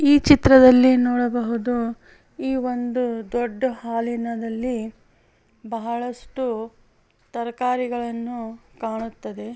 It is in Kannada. ಈ ಚಿತ್ರದಲ್ಲಿ ನೋಡಬಹುದು ಈ ಒಂದು ದೊಡ್ಡ ಹಾಲಿ ನದಲ್ಲಿ ಬಹಳಷ್ಟು ತರಕಾರಿಗಳನ್ನು ಕಾಣುತ್ತದೆ.